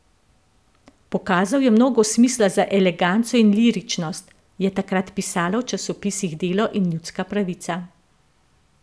Pokazal je mnogo smisla za eleganco in liričnost, je takrat pisalo v časopisih Delo in Ljudska pravica.